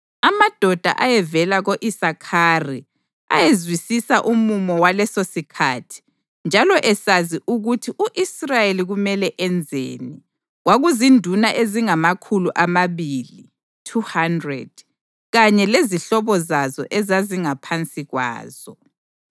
amadoda ayevela ko-Isakhari, ayezwisisa umumo walesosikhathi njalo esazi ukuthi u-Israyeli kumele enzeni. Kwakuzinduna ezingamakhulu amabili (200) kanye lezihlobo zazo ezazingaphansi kwazo;